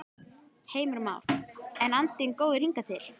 Heimir Már: En andinn góður hingað til?